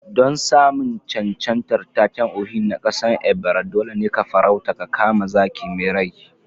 Don samun cancantar taken Ohi na kasan Ebira, dole ne ka farauta ka kama zaki mai rai